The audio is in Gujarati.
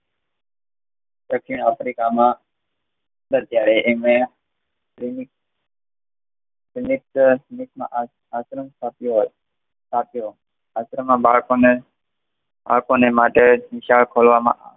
દક્ષિણ આફ્રિકામાં સરકારે એને આશ્રમ આપ્યો. આશ્રમે બાળકને આપવાને માટે નિશાળ ખોલવામાં આવી